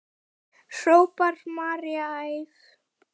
hrópar María æf.